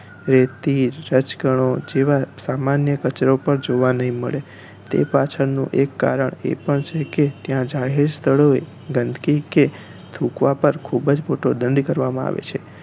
રેતી રજકણો જેવા સામાન્ય કચરો પણ જોવા નહિ મળે તે પાછળ નું એક કારણ એ પણ છે કે ત્યાં જાહેર સ્થળે ગંદકી કે થુંકવા પાર ખુબજ મોટો દંડ કરવામાં આવે છે